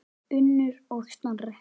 Unnur og Snorri.